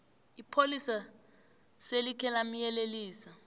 ipholisa selikhe lamyelelisa